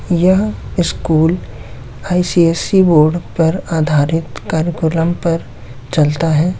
यह school C S C board पर आधाररित कार्यकर्म पर चलता है।